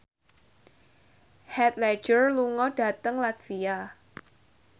Heath Ledger lunga dhateng latvia